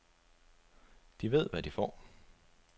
De ved, hvad de får.